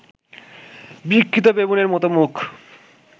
বিকৃত বেবুনের মত মুখ